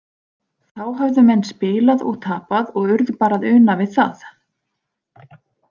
Þá höfðu menn spilað og tapað og urðu bara að una við það.